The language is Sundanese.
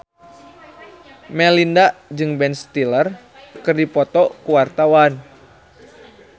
Melinda jeung Ben Stiller keur dipoto ku wartawan